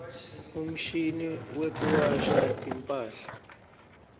umshini wekuwasha timphahla